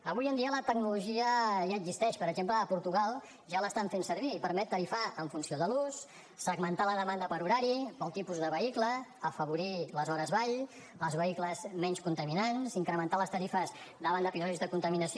avui en dia la tecnologia ja existeix per exemple a portugal ja l’estan fent servir i permet tarifar en funció de l’ús segmentar la demanda per horari pel tipus de vehicle afavorir les hores vall els vehicles menys contaminants incrementar les tarifes davant d’episodis de contaminació